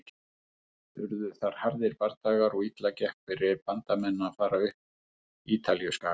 Urðu þar harðir bardagar og illa gekk fyrir Bandamenn að fara upp Ítalíuskagann.